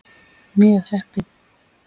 Mjög heppin.